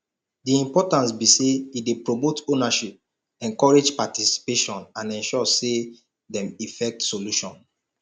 di importance be say e dey promote ownership encourage participation and ensure say dem effect solution